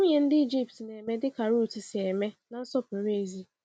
Nwunye ndị Ịjipt na-eme dịka Rutu si eme na nsọpụrụ ezi?